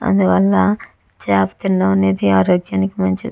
అందువల్ల చాప తినడం అనేది ఆరోగ్యానికి మంచిది.